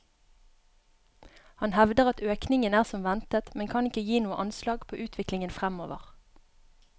Han hevder at økningen er som ventet, men kan ikke gi noe anslag på utviklingen fremover.